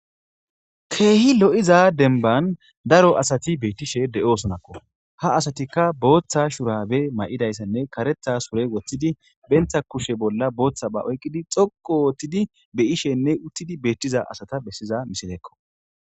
Keehi lo'iza denban daro asati beettishe de7osonakko ha asatikka booththa shurabe may'idayssanne karetha sure woththidi bentha kushe bolla booththa ba oyqqidi xoqo wottidi beyishenne uttidi beettiza asata bessiza misilekko.